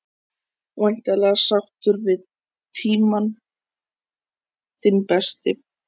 Breki: Væntanlega sáttur við tímann, þinn besti?